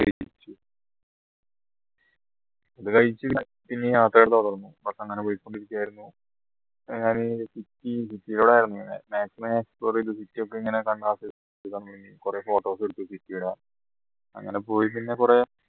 അത് കഴിച്ചു bus അങ്ങനെ പോയിക്കൊണ്ടിരിക്കുകയായിരുന്നു maximum explore ചെയ്തു city ഒക്കെ എങ്ങനെ കണ്ട ആസ്വദിച്ചു കുറെ photo ഒക്കെ എടുത്തു അങ്ങനെ പോയി പിന്നെ കുറെ